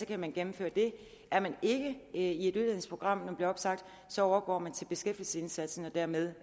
kan man gennemføre det er man ikke i et uddannelsesprogram men bliver opsagt overgår man til beskæftigelsesindsatsen og dermed